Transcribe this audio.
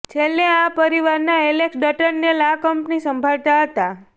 છેલ્લે આ પરિવારના એલેક્સ ડર્ટનેલ આ કંપની સંભાળતા હતા